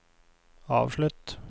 avslutt